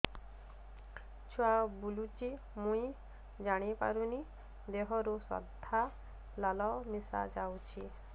ଛୁଆ ବୁଲୁଚି ମୁଇ ଜାଣିପାରୁନି ଦେହରୁ ସାଧା ଲାଳ ମିଶା ଯାଉଚି